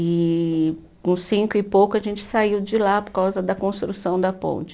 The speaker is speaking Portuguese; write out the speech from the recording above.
E com cinco e pouco a gente saiu de lá por causa da construção da ponte.